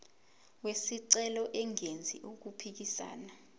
wesicelo engenzi okuphikisana